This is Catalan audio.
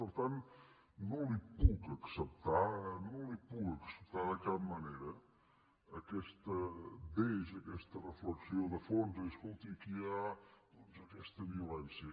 per tant no li puc acceptar de cap manera aquest deix aquesta reflexió de fons de dir escolti aquí hi ha doncs aquesta violència